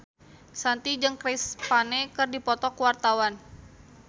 Shanti jeung Chris Pane keur dipoto ku wartawan